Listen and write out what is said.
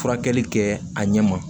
Furakɛli kɛ a ɲɛ ma